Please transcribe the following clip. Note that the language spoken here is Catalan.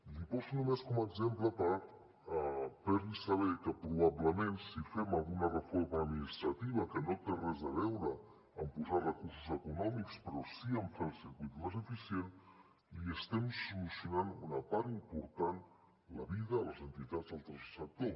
li poso només com a exemple per fer li saber que probablement si fem alguna reforma administrativa que no té res a veure amb posar recursos econòmics però sí amb fer el circuit més eficient estem solucionant una part important de la vida a les entitats del tercer sector